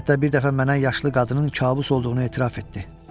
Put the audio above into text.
Hətta bir dəfə mənə yaşlı qadının kabus olduğunu etiraf etdi.